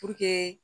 Puruke